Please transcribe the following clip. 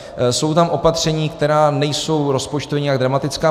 Jsou tam opatření, která nejsou rozpočtově nějak dramatická.